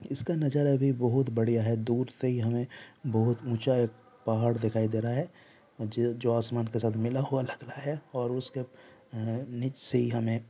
इसका नजारा भी बहोत बढ़िया है दूर से ही हमें बहोत ऊंचा पहाड़ दिखाई दे रहा हे जो असमान के साथ मिला हुवा लग रहा हे और उसके अ नीच से ही हमे--